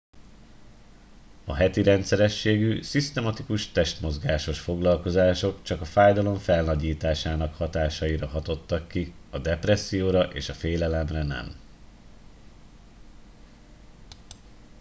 a heti rendszerességű szisztematikus testmozgásos foglalkozások csak a fájdalom felnagyításának hatásaira hatottak ki a depresszióra és a félelemre nem